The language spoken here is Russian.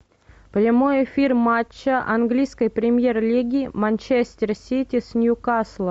прямой эфир матча английской премьер лиги манчестер сити с ньюкаслом